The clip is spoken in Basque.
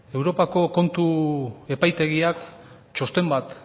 europako kontu epaitegiak txosten bat